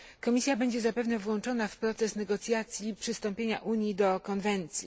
Komisja będzie zapewne włączona w proces negocjacji przystąpienia Unii do konwencji.